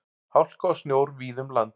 Hálka og snjór víða um land